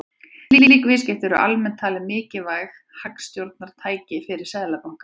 Slík viðskipti eru almennt talin mikilvægt hagstjórnartæki fyrir seðlabanka.